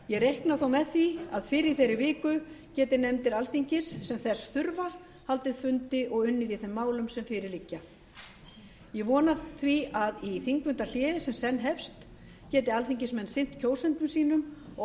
ég reikna þó með því að fyrr í þeirri viku geti nefndir alþingis sem þess þurfa haldið fundi og unnið í þeim málum sem fyrir liggja ég vona að í því þingfundahléi sem senn hefst geti alþingismenn sinnt kjósendum sínum og